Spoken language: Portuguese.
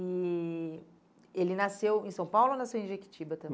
E ele nasceu em São Paulo ou nasceu em Jequitiba também?